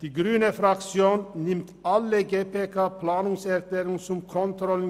Die grüne Fraktion nimmt alle GPK-Planungserklärungen an.